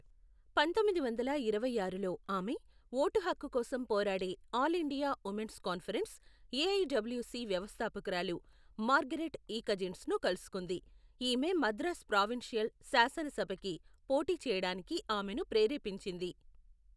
పంతొమ్మిది వందల ఇరవై ఆరులో ఆమె, ఓటు హక్కు కోసం పోరాడే all India women's conference, AIWC వ్యవస్థాపకురాలు మార్గరెట్ ఇ కజిన్స్ను కలుసుకుంది, ఈమె మద్రాస్ ప్రావిన్షియల్ శాసన సభకి పోటీ చేయడానికి ఆమెను ప్రేరేపించింది.